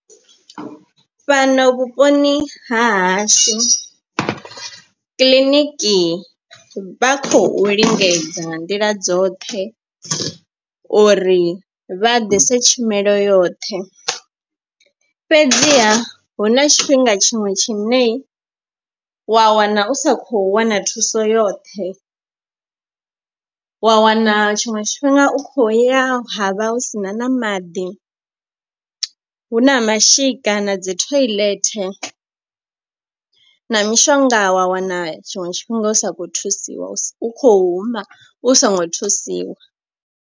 Fhano vhuponi hahashu kiḽiniki vha khou lingedza nga nḓila dzoṱhe uri vha ḓise tshumelo yoṱhe. Fhedziha hu na tshifhinga tshiṅwe tshine wa wana u sa khou wana thuso yoṱhe. Wa wana tshiṅwe tshifhinga u kho ya havha hu sina na maḓi hu na mashika na dzi thoiḽethe na mishonga wa wana tshiṅwe tshifhinga u sa kho thusiwa u kho huma u songo thusiwa.